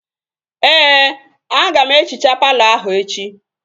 Ee, aga m ehichaa palọ ahụ echi